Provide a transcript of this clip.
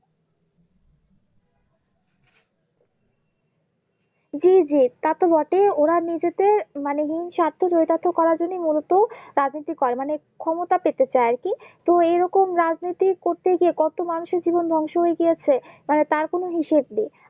জি জি তাতো বটে ওরা নিজেদের মানে হিংসারথ চরিতার্থ করার জন্য মূলত রাজনীতি করে মানে ক্ষমতা পেতে চাই আরকি তো এরকম রাজনীতি করতে গিয়ে কত মানুষ এর জীবন ধ্বংস হয়ে গিয়েছে মানে তার কোনো হিসেব নেই